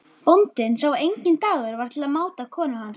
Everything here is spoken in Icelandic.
Bóndinn sá að enginn dagur var til máta konu hans.